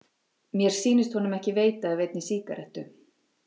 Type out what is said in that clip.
Mér sýndist honum ekki veita af einni sígarettu.